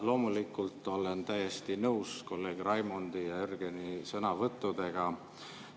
Loomulikult olen täiesti nõus kolleegide Raimondi ja Jürgeni sõnavõttudega.